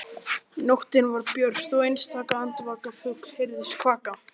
Nóttin var björt og einstaka andvaka fugl heyrðist kvaka.